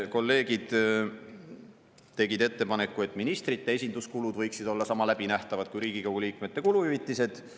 Kolleegid tegid ettepaneku, et ministrite esinduskulud võiksid olla sama läbinähtavad kui Riigikogu liikmete kuluhüvitised.